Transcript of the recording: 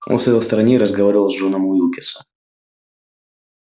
он стоял в стороне и разговаривал с джоном уилксом